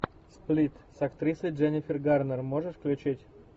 сплит с актрисой дженнифер гарнер можешь включить